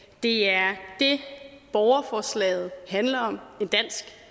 det er det borgerforslaget handler om en dansk